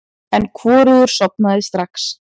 En hvorugur sofnaði strax.